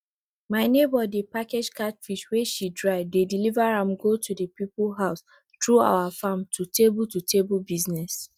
my neighbor dey package catfish wey she dry dey deliver am go the people house through our farm to table to table business